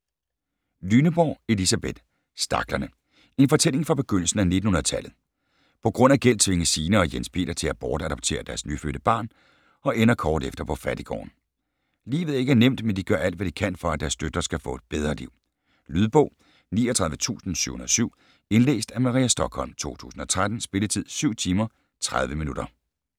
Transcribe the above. Lyneborg, Elisabeth: Staklerne: en fortælling fra begyndelsen af 1900-tallet På grund af gæld tvinges Signe og Jens Peter til at bortadoptere deres nyfødte barn og ender kort efter på fattiggården. Livet er ikke nemt, men de gør alt, hvad de kan for, at deres døtre skal få et bedre liv. Lydbog 39707 Indlæst af Maria Stokholm, 2013. Spilletid: 7 timer, 30 minutter.